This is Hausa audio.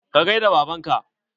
Ka gaida baban ka?